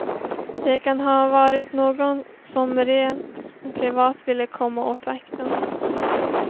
Det kan ha varit någon som rent privat ville komma åt vakten.